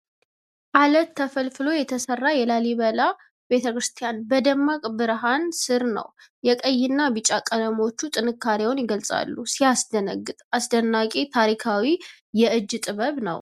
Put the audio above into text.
አለት ተፈልፍሎ የተሰራ የላሊበላ ቤተ ክርስቲያን በደማቅ ብርሃን ስር ነው ። የቀይና ቢጫ ቀለሞቹ ጥንካሬውን ይገልጻሉ ። ሲያስደነግጥ ! አስደናቂ ታሪካዊ የእጅ ጥበብ ነው ።